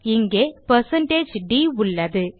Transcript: இங்கே160d உள்ளது